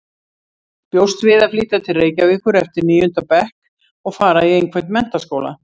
Bjóst við að flytja til Reykjavíkur eftir níunda bekk og fara í einhvern menntaskóla.